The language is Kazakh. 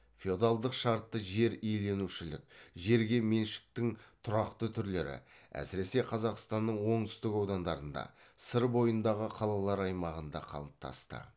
феодалдық шартты жер иеленушілік жерге меншіктің тұрақты түрлері әсіресе қазақстанның оңтүстік аудандарында сыр бойындағы қалалар аймағында қалыптасты